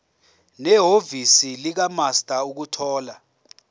nehhovisi likamaster ukuthola